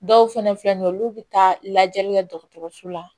Dɔw fɛnɛ filɛ nin ye olu be taa lajɛli kɛ dɔgɔtɔrɔso la